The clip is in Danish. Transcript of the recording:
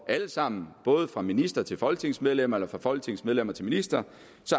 alle sammen fra minister til folketingsmedlem eller fra folketingsmedlem til minister